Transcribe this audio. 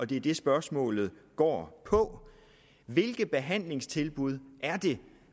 det er det spørgsmålet går på hvilke behandlingstilbud er det